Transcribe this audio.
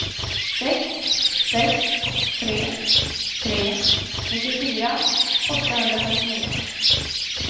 sex sex tre tre nittiofyra åttahundrafemtionio